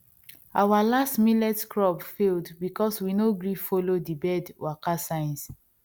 our last millet crop failed because we no gree follow the bird waka signs